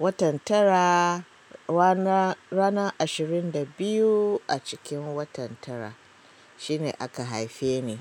Watan tara rana, rana ashirin da biyu a cikin watan tara shine aka haife ni.